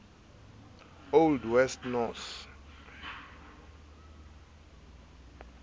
old west norse